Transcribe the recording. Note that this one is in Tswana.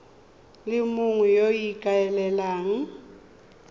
le mongwe yo o ikaelelang